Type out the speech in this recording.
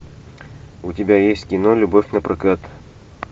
у тебя есть кино любовь напрокат